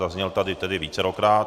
Zazněl tady tedy vícekrát.